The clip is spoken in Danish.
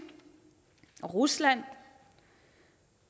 og rusland